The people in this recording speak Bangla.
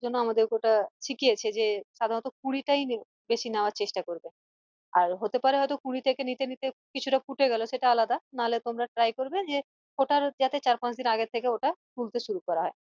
জন্য আমাদেরকে ওটা শিখিয়েছে যে সাধারণত কুড়িটাই বেশি নেওয়ার চেষ্টা করবে আর হতে পারে হয়ত কুড়ি থেকে নিতে নিতে কিছুটা ফুটে গেলো সেটা আলাদা নাহলে তোমরা try করবে যে ফোটার যাতে চার পাঁচদিন আগে থেকে ওটা তুলতে সুরু করা হয়